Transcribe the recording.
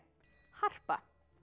harpa